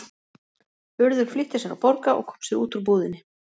Urður flýtti sér að borga og kom sér út úr búðinni.